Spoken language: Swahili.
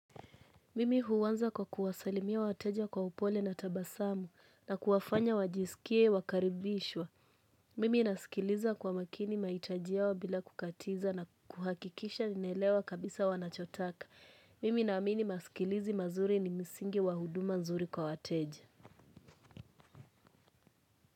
Mimi huwanza kwa kuwasalimia wateja kwa upole na tabasamu na kuwafanya wajisikie wakaribishwa. Mimi nasikiliza kwa makini mahitaji yao bila kukatiza na kuhakikisha naelewa kabisa wanachotaka. Mimi naamini masikilizi mazuri ni msingi wa huduma nzuri kwa wateja.